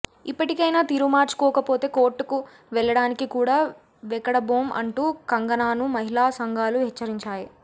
ఇప్పటికైనా తీరు మార్చుకోకపోతే కోర్టుకు వెళ్లడానికి కూడా వెకడబోం అంటూ కంగనాను మహిళా సంఘాలు హెచ్చరించాయి